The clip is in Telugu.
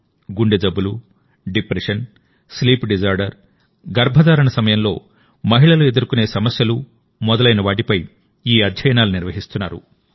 గుండె జబ్బులు డిప్రెషన్ స్లీప్ డిజార్డర్ గర్భధారణ సమయంలో మహిళలు ఎదుర్కొనే సమస్యలు మొదలైనవాటిపై ఈ అధ్యయనాలు నిర్వహిస్తున్నారు